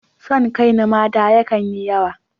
Son kai na mata yakan yi yawa